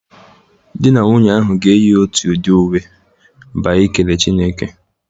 Di na nwunye ahụ ga-eyi otu udị uwe ba ikele Chineke.